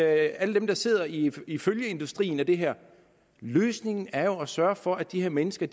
alle dem der sidder i i følgeindustrien af det her løsningen er jo at sørge for at de her mennesker